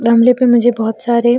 गमले पर मुझे बहुत सारे --